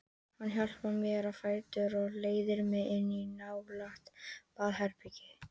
Hann hjálpar mér á fætur og leiðir mig inn í nálægt baðherbergi.